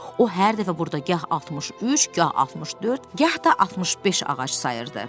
O hər dəfə burda gah 63, gah 64, gah da 65 ağac sayırdı.